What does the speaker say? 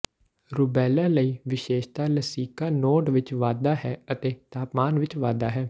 rubella ਲਈ ਵਿਸ਼ੇਸ਼ਤਾ ਲਸਿਕਾ ਨੋਡ ਵਿਚ ਵਾਧਾ ਹੈ ਅਤੇ ਤਾਪਮਾਨ ਵਿਚ ਵਾਧਾ ਹੈ